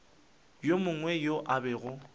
yo mongwe yo a bego